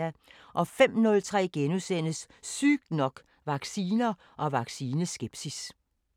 05:03: Sygt nok: Vacciner og vaccineskepsis *